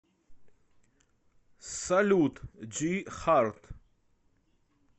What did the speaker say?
салют джи харт